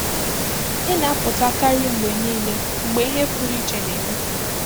ị na-apụta karị mgbe niile mgbe ihe pụrụ iche na-eme.